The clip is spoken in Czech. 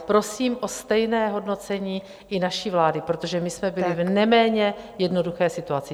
Prosím o stejné hodnocení i naší vlády, protože my jsme byli v neméně jednoduché situaci.